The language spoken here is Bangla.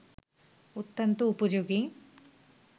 অত্যন্ত উপযোগী